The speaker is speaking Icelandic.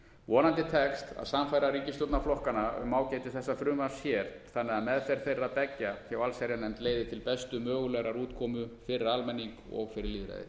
vonandi tekst að sannfæra ríkisstjórnarflokkana um ágæti þessa frumvarps hér þannig að meðferð þeirra beggja hjá allsherjarnefnd leiði til bestu mögulegrar útkomu fyrir almenning og fyrir